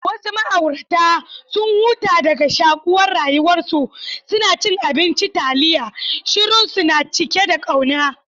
Wasu ma'aurata, sun huta daga shakuwar rayuwarsu, suna cin abinci taliya, shirunsu na cike da kauna.